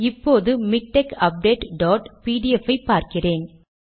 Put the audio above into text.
இப்போது MiKTeX update dot PDF ஐ பார்க்கிறேன்